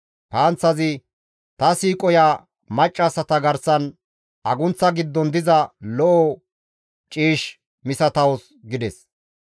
«Ta siiqoya maccassata garsan agunththa giddon diza lo7o ciish misatawus» gides.